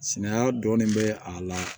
Sinaya dɔɔnin bɛ a la